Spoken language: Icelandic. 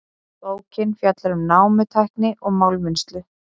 Bókin fjallar um námutækni og málmvinnslu.